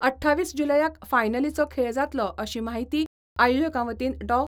अठ्ठावीस जुलयाक फायनलीचो खेळ जातलो अशी माहिती आयोजकां वतीन डॉ.